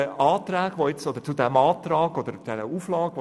Zur seitens der FDP vorliegenden Auflage: